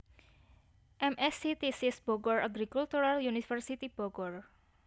M Sc thesis Bogor Agricultural University Bogor